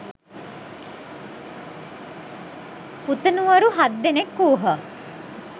පුතණුවරු හත් දෙනෙක් වූහ.